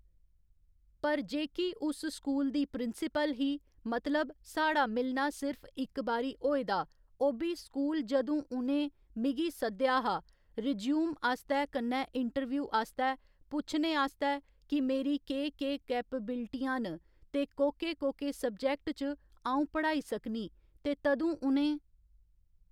पर जेह्की उस स्कूल दी प्रींसिपल ही मतलब साढ़ा मिलना सिर्फ इक बारी होएदा ओह् बी स्कूल जदूं उ'नें मिगी सद्देआ हा रिज्यूम आस्तै कन्नै इंटरव्यू आस्तै पुच्छने आस्तै कि मेरी केह् केह् कैपबिलिटियां न ते कोह्के कोह्के सब्जैक्ट च अ'ऊं पढ़ाई सकनी ते तदूं उ'नें